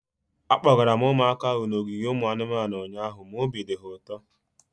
Akpọgara m ụmụaka ahu n'ogige ụmụ anụmanụ ụnyaahụ ma obi dị ha ụtọ